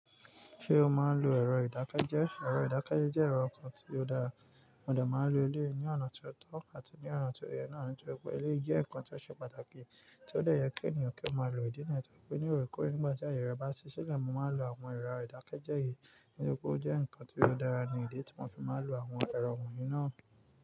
Ṣé o máa ń lo ẹ̀rọ ìdákẹ́jẹ́? Ẹ̀rọ ìdákẹ́jẹ́ jẹ́ ẹ̀rọ kan tí ó dára, mo de máa ń lo eleyii ní ọ̀nà tí ó tọ́ àti ní ọ̀nà tí ó yẹ náà, nítorí pé eleyii jẹ́ nǹkan tí ó ṣe pàtàkì tí ó de ẹ́ yẹ kí ènìyàn kí ó máa lo ìdí niyen, torí pé ní òrekọore nígbà tí àyè rẹ bá ṣi silẹ́, mo máa n lò àwọn ẹ̀rọ ìdákẹ́jẹ́ yìí nítorí pé ó jẹ́ nǹkan tí ó dára ní idi tí mo fi máa ń lo àwọn ẹ̀rọ wọ̀nyí náà.